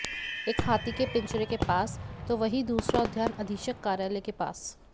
एक हाथी के पिंजरे के पास तो वही दूसरा उद्यान अधिक्षक कार्यालय के पास